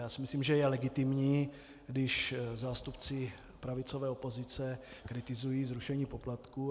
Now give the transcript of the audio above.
Já si myslím, že je legitimní, když zástupci pravicové opozice kritizují zrušení poplatků.